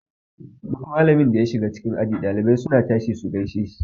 Duk malamin da ya shiga cikin aji ɗalibai suna tashi su gaishe dashi.